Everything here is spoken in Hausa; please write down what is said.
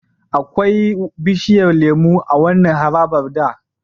Akwai bishiyar lemo a wannan harabar da.